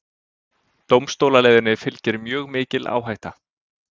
Dómstólaleiðinni fylgir mjög mikil áhætta